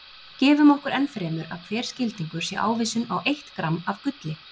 Gefum okkur enn fremur að hver skildingur sé ávísun á eitt gramm af gulli.